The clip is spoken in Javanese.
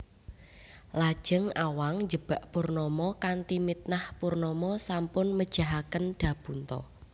Lajeng Awang njebak Purnama kanthi mitnah Purnama sampun mejahaken Dapunta